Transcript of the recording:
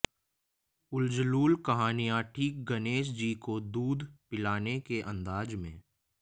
उलजलूल कहानियां ठीक गणेश जी को दूध पिलाने के अंदाज में